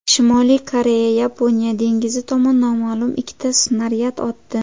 Shimoliy Koreya Yaponiya dengizi tomon noma’lum ikkita snaryad otdi.